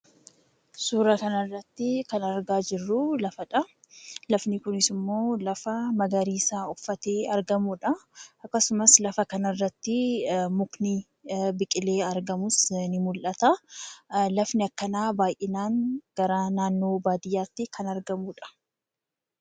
Suura kana irratti kan argaa jirruu, lafa dha. Lafni kunis immoo lafa magariisa uffatee argamudha. akkasumas lafa kana irratti mukni biqilee argamus ni mul'ata. Lafni akkanaa baayyinaan gara naannoo baadiyyaatti kan argamuudja.